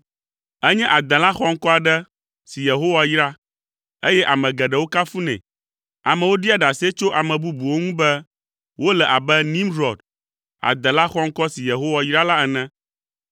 Enye adela xɔŋkɔ aɖe si Yehowa yra, eye ame geɖewo kafunɛ. Amewo ɖia ɖase tso ame bubuwo ŋu be wole “abe Nimrɔd, adela xɔŋkɔ si Yehowa yra la ene.”